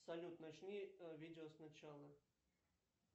салют начни видео с начала